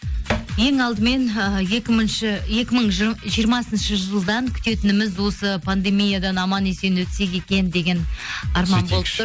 ең алдымен ііі екі мың жиырмасыншы жылдан күтетініміз осы пандемиядан аман есен өтсек екен деген арман болып тұр